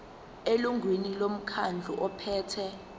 elungwini lomkhandlu ophethe